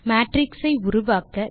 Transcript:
matrix ஐ உருவாக்க